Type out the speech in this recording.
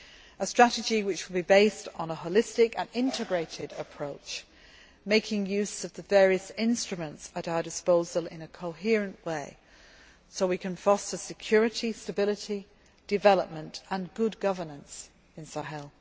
This strategy was to be based on a holistic and integrated approach, making use of the various instruments at our disposal in a coherent way, so we can foster security, stability, development and good governance in Sahel.